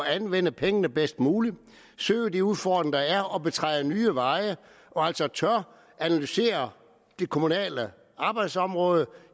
at anvende pengene bedst muligt søge de udfordringer der er og som betræder nye veje og altså tør analysere det kommunale arbejdsområde